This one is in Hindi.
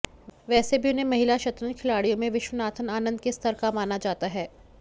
वैसे भी उन्हें महिला शतरंज खिलाडि़यों में विश्वनाथन आनंद के स्तर का माना जाता है